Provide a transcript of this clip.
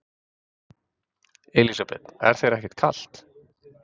Elísabet: Er þér ekkert kalt?